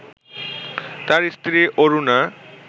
তাঁর স্ত্রী অরুণা